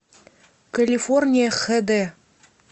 калифорния хэ дэ